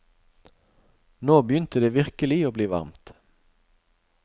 Nå begynte det virkelig å bli varmt.